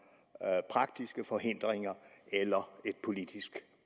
der er praktiske forhindringer eller et politisk